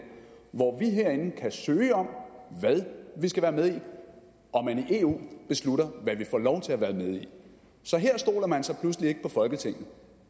hvor vi herinde kan søge om hvad vi skal være med i og man i eu beslutter hvad vi får lov til at være med i så her stoler man så pludselig ikke på folketinget